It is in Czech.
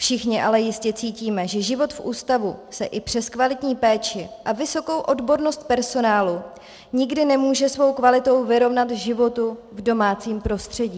Všichni ale jistě cítíme, že život v ústavu se i přes kvalitní péči a vysokou odbornost personálu nikdy nemůže svou kvalitou vyrovnat životu v domácím prostředí.